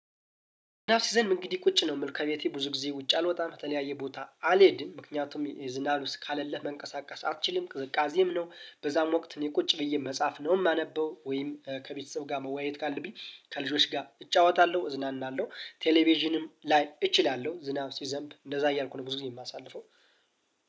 ዝናብ ሲዘንብ እንግዲህና ቁጭ ነው። የምል ከቤቴ ብዙ ጊዜ ውጭ አልወጣም በተለያየ ቦታ አልሄድም። ምክንያቱም አሰስካለ መንቀሳቀስ አትችልም ቅዝቃዜም ነው። በዛም ወቅት እኔ ቁጭ ብዬ መጻፍ ነው የማነበው ወይም ከቤተሰብ ጋር መወያየት ካለብኝ ከልጆች ጋር እጫወታለሁ እዝናናለሁ ቴሌቪዥንም ላይ እችላለሁ። ዝናብ ሲዘንብ እንደዛ እያልኩ ብዙ ጊዜ የማሳልፈው